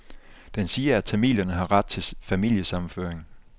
Den siger, at tamilerne har ret til familiesammenføring.